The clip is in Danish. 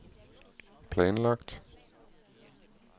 planlagt